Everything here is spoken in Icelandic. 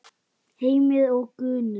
Heimir og Gunnur.